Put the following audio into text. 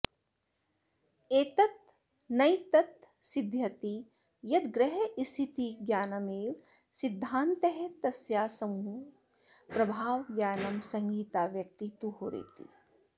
एतेनैतत्सिध्यति यद्ग्रहस्थितिज्ञानमेव सिद्धान्तस्तस्याः समूहे प्रभाव ज्ञानं संहिताव्यक्ती तु होरेति